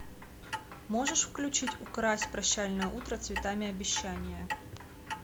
можешь включить укрась прощальное утро цветами обещания